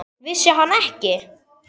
Vissi hann ekki?